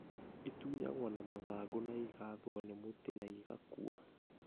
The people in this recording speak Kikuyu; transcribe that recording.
Ĩtunyagwo na mathangũ na ĩgathwo nĩ mũtĩ na ĩgaakua.